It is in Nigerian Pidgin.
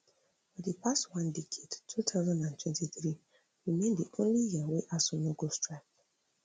for di past one decade two thousand and twenty-three remain di only year wey asuu no go strike